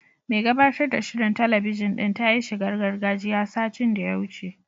Mai gabatar da shirin talabijin din ta yi shigar gargajiya, satin da ya wuce.